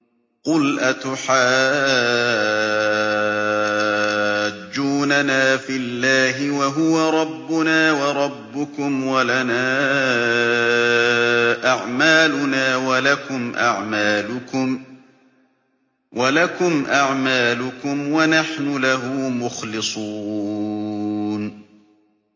قُلْ أَتُحَاجُّونَنَا فِي اللَّهِ وَهُوَ رَبُّنَا وَرَبُّكُمْ وَلَنَا أَعْمَالُنَا وَلَكُمْ أَعْمَالُكُمْ وَنَحْنُ لَهُ مُخْلِصُونَ